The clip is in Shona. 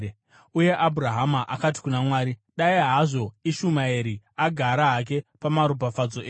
Uye Abhurahama akati kuna Mwari, “Dai hazvo Ishumaeri agara hake pamaropafadzo enyu!”